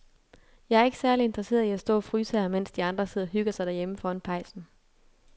Jeg er ikke særlig interesseret i at stå og fryse her, mens de andre sidder og hygger sig derhjemme foran pejsen.